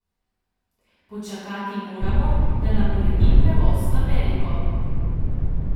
Počakati moramo, da nam uredi prevoz v Ameriko.